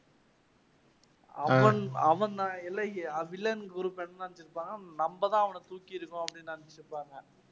அவன் villain group என்ன நினைச்சிருப்பான்னா நம்ப தான் அவனை தூக்கியிருக்கோம் அப்பிடின்னு நினைச்சிட்டிருப்பாங்க